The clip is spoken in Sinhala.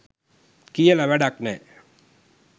කියල වැඩක් නැහැ.